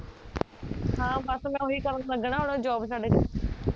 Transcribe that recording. ਹਾਂ ਬਸ ਮੈਂ ਓਹੀ ਕਰਣ ਲੱਗਣਾ ਹੁਣ job ਛੱਡ ਕੇ